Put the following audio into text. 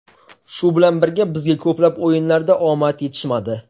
Shu bilan birga bizga ko‘plab o‘yinlarda omad yetishmadi.